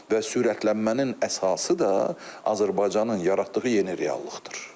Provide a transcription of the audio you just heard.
Və sürətlənmənin əsası da Azərbaycanın yaratdığı yeni reallıqdır.